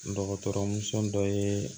Dɔgɔtɔrɔmuso dɔ ye